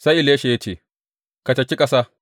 Sai Elisha ya ce, Ka caki ƙasa.